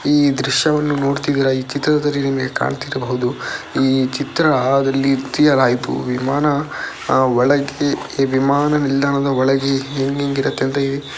ಈ ದ್ರಶ್ಯವನ್ನು ನೋಡ್ತಿದ್ದೀರಾ ಈ ಚಿತ್ರದಲ್ಲಿ ನಿಮಗೇ ಕಾಣ್ತಿರಬಹುದು ಈ ಚಿತ್ರಾದಲ್ಲಿ ಆಯ್ತು ವಿಮಾನ ಅಹ್ ಒಳಗೆ ಎ ವಿಮಾನ ನಿಲ್ದಾಣದ ಒಳಗೆ ಹೆಂಗೆಂಗೆ ಇರುತ್ತೆ ಅಂತ --